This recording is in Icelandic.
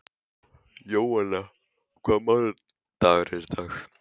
Jóanna, hvaða mánaðardagur er í dag?